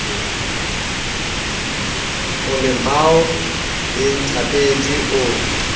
o lemao le ntlhapedi o